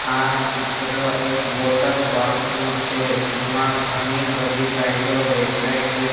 આ ચિત્ર એક વોટરપાર્ક નું છે જેમા ઘણી બધી રાઈડો દેખાય છે.